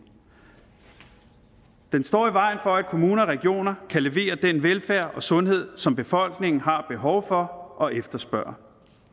den står i vejen for at kommuner og regioner kan levere den velfærd og sundhed som befolkningen har behov for og efterspørger